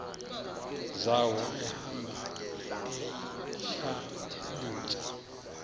zawo ehamba eyihlalutya